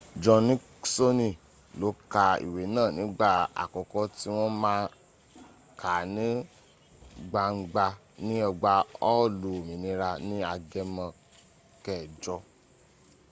john niksoni lo ka iwe naa nigba akoko ti won maa ka ni gbanga ni ogba hoolu ominira ni agemo 8